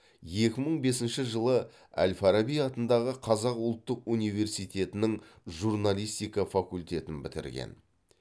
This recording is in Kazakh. екі мың бесінші жылы әл фараби атындағы қазақ ұлттық университетінің журналистика факультетін бітірген